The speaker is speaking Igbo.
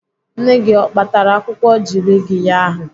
Nne gị o kpatara akwụkwọ jirigiya ahụ?